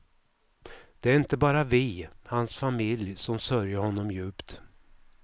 Det är inte bara vi, hans familj, som sörjer honom djupt.